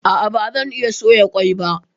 A'a bazan iya soya ƙwai ba